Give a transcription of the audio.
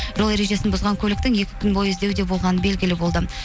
жол ережесін бұзған көліктің екі күн бойы іздеуде болғаны белгілі болды